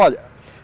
Olha.